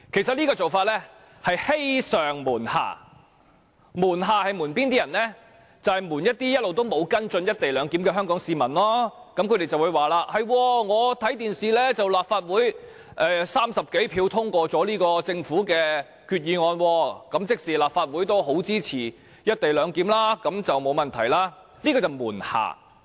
這做法其實是欺上瞞下，"瞞下"所指的是向那些一直沒有跟進"一地兩檢"的香港市民隱瞞事實，市民會說在電視上看到立法會以30多票贊成，通過了這項政府議案，即立法會也相當支持"一地兩檢"，那麼便應該沒有問題吧，這便是"瞞下"。